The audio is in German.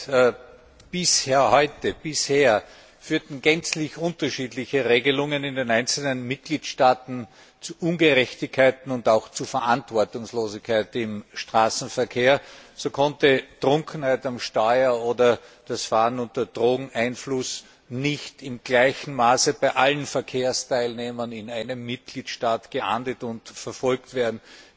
Herr Präsident! Bis heute führten gänzlich unterschiedliche Regelungen in den einzelnen Mitgliedstaaten zu Ungerechtigkeiten und auch zu Verantwortungslosigkeit im Straßenverkehr. So konnten Trunkenheit am Steuer oder das Fahren unter Drogeneinfluss nicht in gleichem Maße bei allen Verkehrsteilnehmern in einem Mitgliedstaat geahndet und verfolgt werden.